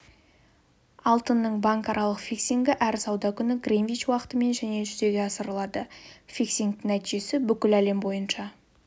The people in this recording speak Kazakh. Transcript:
алтынның банкаралық фиксингі әр сауда күні гринвич уақытымен және жүзеге асырылады фиксингтің нәтижесі бүкіл әлем бойынша